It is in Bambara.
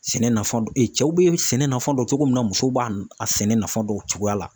Sɛnɛ nafa cɛw bɛ sɛnɛ nafa dɔn cogo min na musow b'a a sɛnɛ nafa dɔn cogoya la .